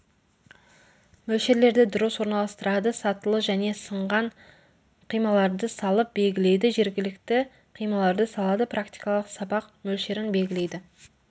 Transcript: мөлшерлерді дұрыс орналастырады сатылы және сынған қималарды салып белгілейді жергілікті қималарды салады практикалық сабақ мөлшерін белгілейді